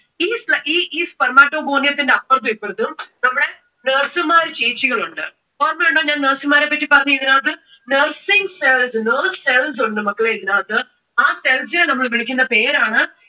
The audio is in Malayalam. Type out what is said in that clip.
ഈ sperm~ spermatogonia ന്റെ അപ്പുറത്തും ഇപ്പുറത്തും നമ്മുടെ nurse മാർ ചേച്ചികളുണ്ട്. ഓർമ്മയുണ്ടോ ഞാൻ nurse മാരെ പറ്റി പറഞ്ഞത് ഇതിന്റെ അകത്ത്? nursing cells ഉണ്ട് മക്കളെ ഇതിന്റെ അകത്ത്, ആ cells നെ നമ്മൾ വിളിക്കുന്ന പേരാണ്